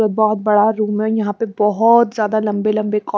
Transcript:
और बहुत बड़ा रूम है यहां पे बहुत ज्यादा लंबे-लंबे--